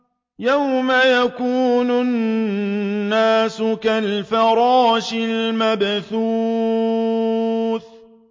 يَوْمَ يَكُونُ النَّاسُ كَالْفَرَاشِ الْمَبْثُوثِ